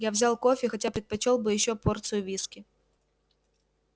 я взял кофе хотя предпочёл бы ещё порцию виски